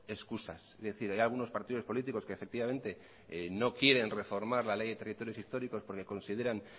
excusas es decir hay algunos partidos políticos que efectivamente no quieren reforma la ley de territorios históricos porque consideran